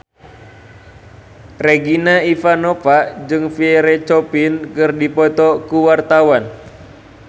Regina Ivanova jeung Pierre Coffin keur dipoto ku wartawan